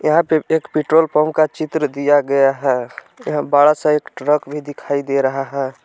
यहां पे एक पेट्रोल पंप का चित्र दिया गया है यहां बड़ा सा एक ट्रक भी दिखाई दे रहा है।